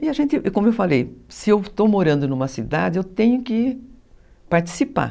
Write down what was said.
E a gente, como eu falei, se eu estou morando numa cidade, eu tenho que participar.